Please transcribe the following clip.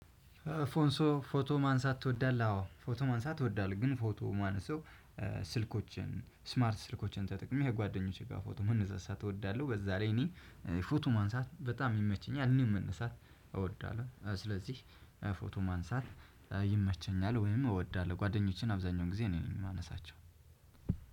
ፎንሶ ፎቶ ማንሳት ትወዳለህ? አዎ ፎቶ ማንሳት እወዳለህ ግን ፎቶ ማንሳው ስልኮችን ስማርት ስልኮችን ተጠቅሜ የጓደኞቼ ጋር ፎቶ መነሳት እወዳለሁ። በዛ ላይ እኔ ፎቶ ማንሳት በጣም የሚመችኝ አኔም መነሳት እወዳለሁ። ስለዚህ ፎቶ ማንሳት ይመቸኛል ወይም እወዳለሁ ጓደኞቼን አብዛኛው ጊዜ እኔ ነኝ የማነሳቸው።